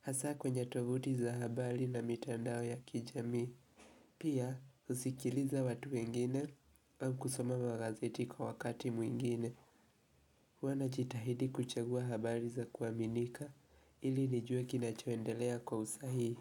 Hasa kwenye tovuti za habari na mitandao ya kijamii. Pia husikiliza watu wengine au kusoma magazeti kwa wakati mwingine. Huwa najitahidi kuchagua habari za kuaminika ili nijua kinachoendelea kwa usahii.